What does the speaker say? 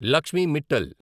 Lakshmi Mittal